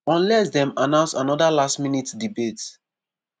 unless dem announce anoda last minute debate.